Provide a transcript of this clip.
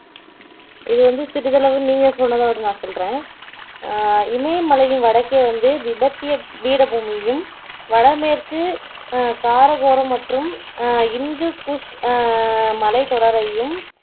இத வந்து சிறிதளவு நீங்க சொன்னத விட நான் சொல்லுறேன் அஹ் இமயமலையின் வடக்கே வந்து திபத்திய பீடபூமியும், வடமேற்கு அஹ் காரகோரம் மற்றும் அஹ் இந்து குஷ் அஹ் மலைத்தொடரையும்